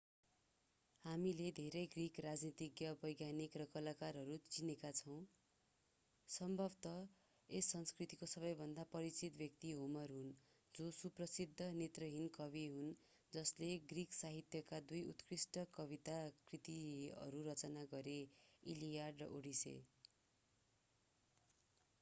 हामीले धेरै ग्रिक राजनीतिज्ञ वैज्ञानिक र कलाकारहरू चिनेका छौं सम्भवतः यस संस्कृतिको सबैभन्दा परिचित व्यक्ति होमर हुन् जो सुप्रसिद्ध नेत्रहीन कवि हुन् जसले ग्रिक साहित्यका दुई उत्कृष्ट कविता कृतिहरू रचना गरे इलियड र ओडेसी